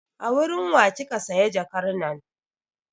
A wurin wa kika siya jakar nan?